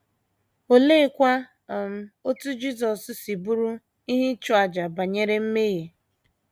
Oleekwa um otú Jisọs si bụrụ “ ihe ịchụ àjà ” banyere mmehie?